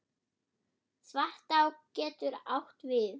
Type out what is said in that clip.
Svartá getur átt við